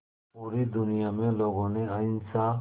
पूरी दुनिया में लोगों ने अहिंसा